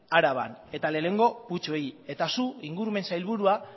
araban eta lehenengo putzuei eta zu ingurumen sailburua